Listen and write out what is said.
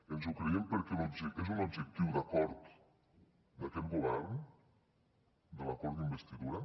ens ho creiem perquè és un objectiu d’acord d’aquest govern de l’acord d’investidura